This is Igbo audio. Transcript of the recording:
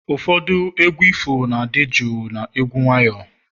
ụfọdụ egwu ifo na-adị jụụ na egwu nwayọ